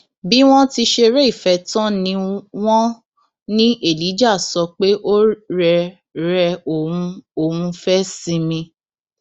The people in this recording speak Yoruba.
bí wọn ti ṣeré ìfẹ tán ni wọn ní elijah sọ pé ó rẹ rẹ òun òun fẹẹ sinmi